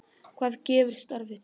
Hvað gefur starfið þér?